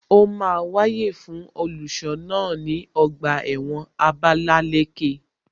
Ó máa wáyè fún iṣẹ́ olùṣọ́ náà ní ọgbà ẹ̀wọ̀n Abalaleke